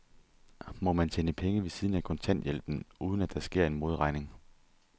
Må man tjene penge ved siden af kontanthjælpen, uden at der sker en modregning?